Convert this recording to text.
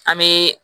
An bɛ